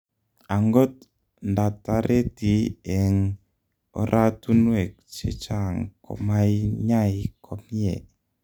Angot ndatareti eng oratunwek chechang komainyai komyee